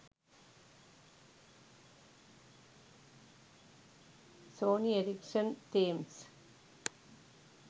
sony erricson themes